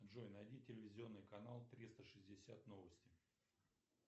джой найди телевизионный канал триста шестьдесят новости